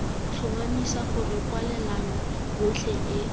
tlhomamisa gore kwalelano yotlhe e